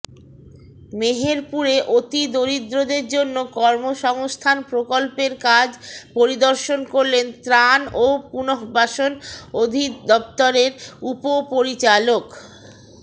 মেহেরপুরে অতি দরিদ্রদের জন্য কর্ম সংস্থান প্রকল্পের কাজ পরিদর্শন করলেন ত্রান ও পূনঃবাসন অধিদপ্তরের উপপরিচালক